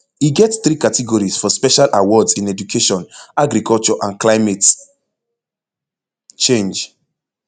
e get three categories for special awards in education agriculture and climate change